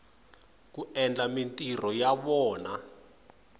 ku endla mintirho ya vona